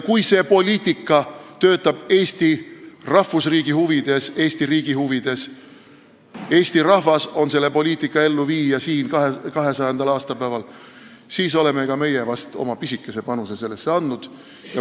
Kui see poliitika töötab Eesti rahvusriigi huvides, Eesti riigi huvides, ja kui Eesti rahvas on selle poliitika elluviija siin 200. aastapäeval, siis vast oleme ka meie sellesse oma pisikese panuse andnud.